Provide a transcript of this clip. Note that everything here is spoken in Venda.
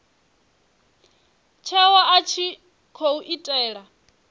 tsheo a tshi khou itela